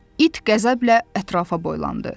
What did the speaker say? İt qəzəblə ətrafa boylandı.